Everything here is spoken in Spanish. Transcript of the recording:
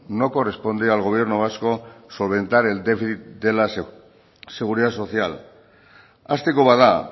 no corresponde al gobierno vasco solventar el déficit de la seguridad social hasteko bada